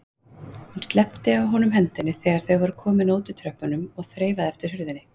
Hún sleppti af honum hendinni þegar þau voru komin að útitröppunum og þreifaði eftir hurðinni.